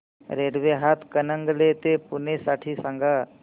railway Hatkanangale ते पुणे साठी सांगा